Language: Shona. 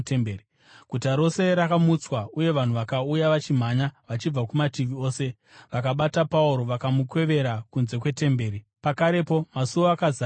Guta rose rakamutswa, uye vanhu vakauya vachimhanya vachibva kumativi ose. Vakabata Pauro, vakamukwevera kunze kwetemberi, pakarepo masuo akazarirwa.